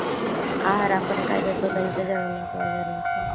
आहार आपण काय देतो त्यांच्या जेवणात वगैरे.